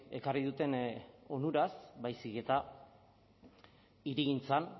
ekarri duten onuraz baizik eta hirigintzan